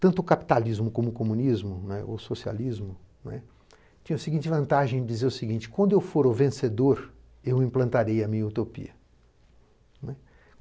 Tanto o capitalismo como o comunismo ne, ou socialismo, tinha a seguinte vantagem de dizer o seguinte, quando eu for o vencedor, eu implantarei a minha utopia.